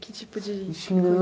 Que tipo de